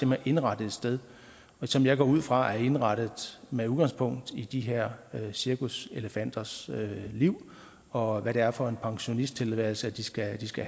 man indretter et sted som jeg går ud fra er indrettet med udgangspunkt i de her cirkuselefanters liv og hvad det er for en pensionisttilværelse de skal de skal